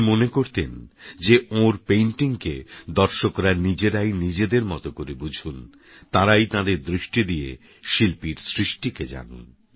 উনিমানতেনযেওঁরpaintingকেদর্শকরানিজেরাইনিজেদেরমতকরেবুঝুনতাঁরাইতাঁদেরদৃষ্টিদিয়েশিল্পীরসৃষ্টিকেজানুন